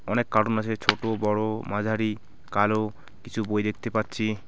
অনেক কার্টুন আছে ছোট বড়ো মাঝারি কালো কিছু বই দেখতে পাচ্ছি।